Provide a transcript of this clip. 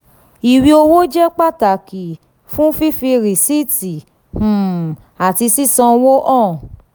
iwe owo jẹ pataki fun fifi risiiti um ati sisanwo han.